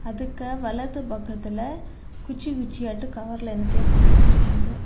எதுக்கா வலது பக்கத்திலெ குச்சி குச்சியாட்டொ கவர்லெ என்னத்தையோ போட்டு வச்சிருக்காங்க.